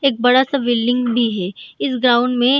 एक बड़ा-सा बिल्डिंग भी हे इस ग्राउंड में।